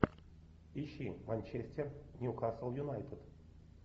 ищи манчестер ньюкасл юнайтед